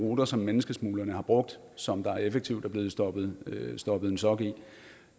de ruter som menneskesmuglerne har brugt som der effektivt er blevet stoppet stoppet en sok i